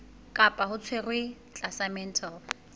kapa o tshwerwe tlasa mental